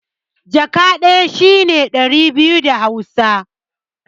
Jaka ɗaya shi ne ɗari biyu da Hausa.